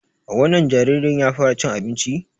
Wannan jaririn ya fara cin abinci?